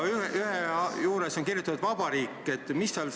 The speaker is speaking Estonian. Ühes kohas on juurde kirjutatud sõna "Vabariik".